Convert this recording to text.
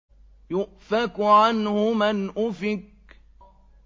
يُؤْفَكُ عَنْهُ مَنْ أُفِكَ